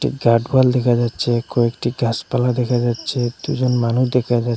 guard wall দেখা যাচ্ছে কয়েকটি গাসপালা দেখা যাচ্ছে দুজন মানুষ দেখা যা--